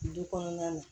Du kɔnɔna na